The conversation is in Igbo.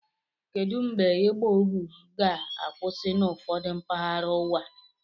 Kedụ mgbe ịgba ohu ga-akwụsị n'ụfọdụ mpaghara ụwa?